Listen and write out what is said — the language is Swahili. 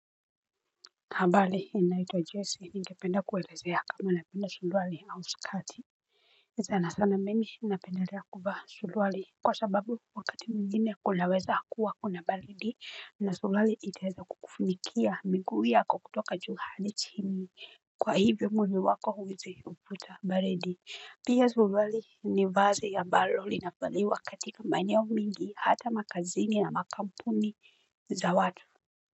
Habari ninaitwa Jesse ningependa kuelezea kama napenda suruali au skati sana sana mimi napendelea kuvaa suruali Kwa sababu wakati mwingine kunaweza kuwa kuna baridi na suruali iteza kukufunikia miguu yako kutoka juu hadi chini Kwa hivyo mwili wako huwezi kupata baridi Pia suruali ni vazi ambalo linavaliwa katika maeneo mingi hata makazini na makampuni za watu.